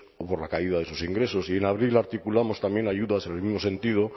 o por la caída de sus ingresos y en abril articulamos también ayudas en el mismo sentido